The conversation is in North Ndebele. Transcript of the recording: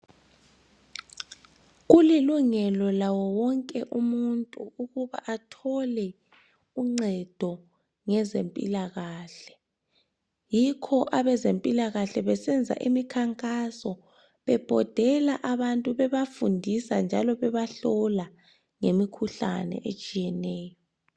Kulilungelo lawowonke umuntu ukuba athole uncedo ngezempilakahle. Yikho abezempilakahle besenza imikhankaso bebhodela abantu bebafundisa njalo bebahlola ngemikhuhlane etshiyeneyo.